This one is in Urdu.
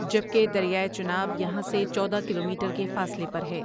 جبکہ دریائے چناب یہاں سے چودہ کلو میٹر کے فاصلے پر ہے ۔